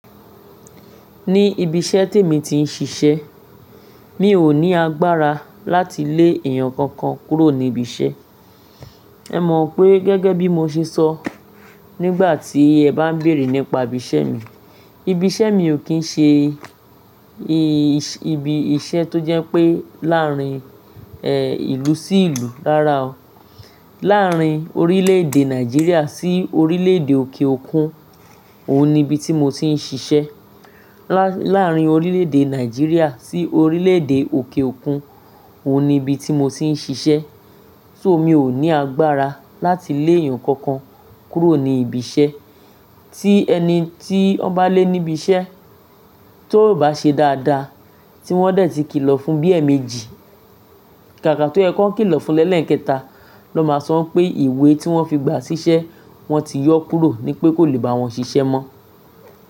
Ní ibi iṣẹ́ tèmi tí ń ṣiṣẹ́, mi ò ní agbára láti lé èèyàn kankan kúrò ní ibi iṣẹ́. Ẹ mọ pé gẹ́gẹ́ bí mo ṣe sọ nígbà tí ẹ bá ń bèrè nípa ibi iṣẹ́ mi, ibi iṣẹ́ mi ò kí ń ṣe ibi iṣẹ́ tó jẹ́ pé láàrín, ẹ, ìlú sí ìlú rára o. Láàrín orílẹ̀-èdè Nàìjíríà sí orílẹ̀-èdè òkè òkun, òun ni ibi tí mo ti ń ṣiṣẹ́. Láàrín orílẹ̀-èdè Nàìjíríà sí orílẹ̀-èdè òkè òkun, òun ni ibi tí mo ti ń ṣiṣẹ́. So mi ò ní agbára láti lé èèyàn kankan kúrò ní ibi iṣẹ́. Tí ẹni tí wọ́n bá lé níbi iṣẹ́ tó ò bá ṣe dáadáa, tí wọ́n dẹ̀ ti kìlọ̀ fún bíi ẹẹ̀mẹ́jì, kàkà tó yẹ kọ kìlọ̀ fún lẹ́ẹ̀lẹ́ẹ̀kẹta, ló máa sọ pé ìwé tí wọ́n fi gba ṣíṣẹ́ wọ́n ti yọ kúrò ní pé kò lè bá wọn ṣiṣẹ́ mọ́